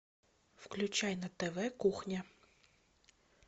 включай на тв кухня